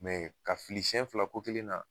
Mɛ ka fili sɛn fila ko kelen na